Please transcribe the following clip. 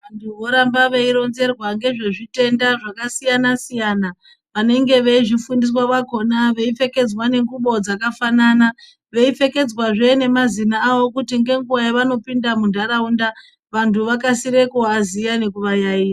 Vantu voramba veironzerwa ngezvezvitenda zvakasiyana-siyana, vanenge veizifundiswa vakona veipfekedzwa ngengubo dzakafanana. Veipfekedzwazve nemazina avo kuti nenguva yavanopinda muntaraunda vantu vakasire kuvaziya nekuvayayiya.